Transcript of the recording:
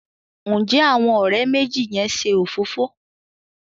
Njé Àwọn òré méjì yén ṣe òfófó?